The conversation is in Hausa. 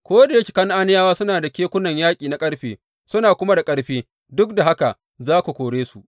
Ko da yake Kan’aniyawa suna da kekunan yaƙi na ƙarfe, suna kuma da ƙarfi, duk da haka za ku kore su.